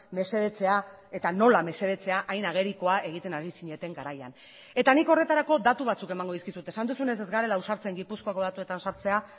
mesedetzea eta nola mesedetzea hain agerikoa egiten ari zineten garaian eta nik horretarako datu batzuk emango dizkizut esan duzunez ez garela ausartzen gipuzkoako datuetan sartzea